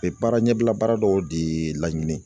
U ye baara ɲɛbila baara dɔw de laɲini